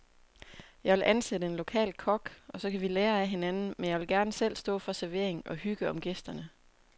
Jeg vil ansætte en lokal kok, og så kan vi lære af hinanden, men jeg vil gerne selv stå for servering og hygge om gæsterne.